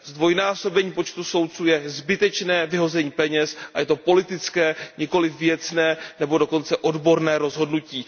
Zdvojnásobení počtu soudců je zbytečné vyhození peněz a je to politické, nikoliv věcné nebo dokonce odborné rozhodnutí.